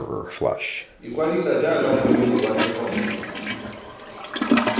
ikwadisa jaaka moemedi wa thekontle